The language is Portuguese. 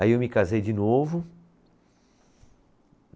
Aí eu me casei de novo.